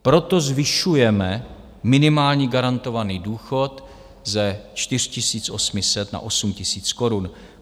Proto zvyšujeme minimální garantovaný důchod ze 4 800 na 8 000 korun.